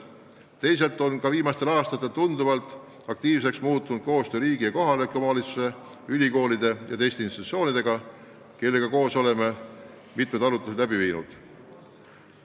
Teisalt on viimastel aastatel tunduvalt aktiivsemaks muutunud koostöö riigi, kohalike omavalitsuste, ülikoolide ja teiste institutsioonidega, kellega koos oleme mitu arutelu läbi viinud.